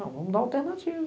Não, vamos dar uma alternativa.